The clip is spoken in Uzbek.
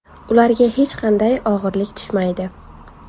Ularga hech qanday og‘irlik tushmaydi.